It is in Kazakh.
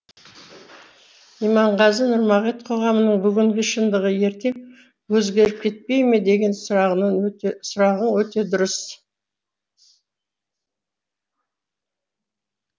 иманғазы нұрмағет қоғамның бүгінгі шындығы ертең өзгеріп кетпей ме деген сұрағың өте дұрыс